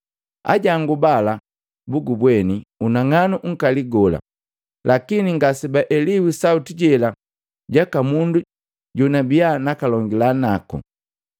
Ajangu bala buubweni unang'anu nkali gola lakini ngase baeliwi sauti jela jaka mundu jonabia nakalongila nako.